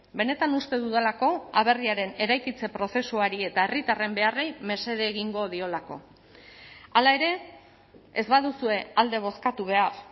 benetan uste dudalako aberriaren eraikitze prozesuari eta herritarren beharrei mesede egingo diolako hala ere ez baduzue alde bozkatu behar